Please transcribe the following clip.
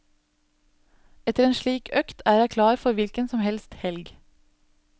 Etter en slik økt er jeg klar for hvilken som helst helg.